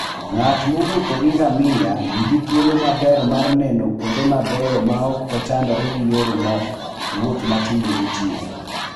Ng'at mowuotho gi ngamia nigi thuolo maber mar neno kuonde mabeyo maok ochandore gi yore mag wuoth ma tinde nitie.